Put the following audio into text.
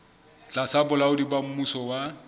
tlasa bolaodi ba mmuso wa